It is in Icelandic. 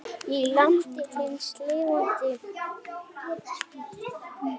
Í landi hins lifanda guðs.